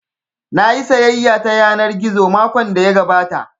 Nayi sayayya ta yanar gizo makon da ya gabata